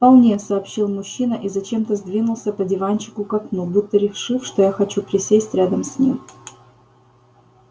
вполне сообщил мужчина и зачем-то сдвинулся по диванчику к окну будто решив что я хочу присесть рядом с ним